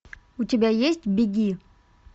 у тебя есть беги